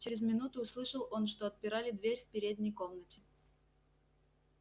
чрез минуту услышал он что отпирали дверь в передней комнате